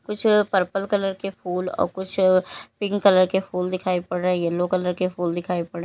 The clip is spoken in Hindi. कुछ पर्पल कलर के फूल और कुछ पिंक कलर के फूल दिखाई पड़ रहे है येलो कलर के फूल दिखाएं पड़--